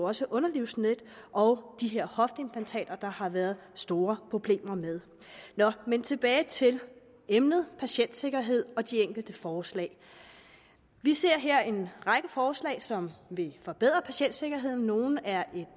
også underlivsnet og de her hofteimplantater der har været store problemer med tilbage til emnet patientsikkerhed og de enkelte forslag vi ser her en række forslag som vil forbedre patientsikkerheden nogle er